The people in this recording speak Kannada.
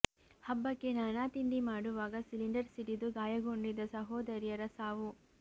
ಹಬ್ಬಕ್ಕೆ ನಾನಾ ತಿಂಡಿ ಮಾಡುವಾಗ ಸಿಲಿಂಡರ್ ಸಿಡಿದು ಗಾಯಗೊಂಡಿದ್ದ ಸಹೋದರಿಯರ ಸಾವು